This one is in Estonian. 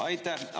Aitäh!